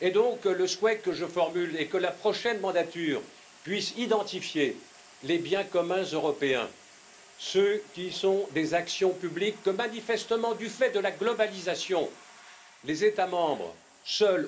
Et donc le souhait que je formule est que la prochaine mandature puisse identifier les biens communs européens, ceux qui sont des actions publiques que manifestement, du fait de la globalisation, les États membres seuls